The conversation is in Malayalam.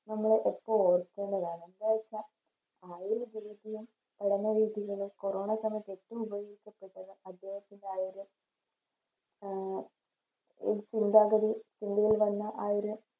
നമ്മളെപ്പോ ഓർക്കേണ്ടതാണ് നമ്മളിപ്പോ ആ ഒരു രീതിയും പഠന രീതികള് കൊറോണ സമയത്ത് ഏറ്റോം ഉപകരിക്കപ്പെട്ടത് അദ്ദേഹത്തിൻറെ ആ ഒരു ആഹ് ഒരു ചിന്താഗതി ഇന്ത്യയിൽ തന്നെ ആ ഒരു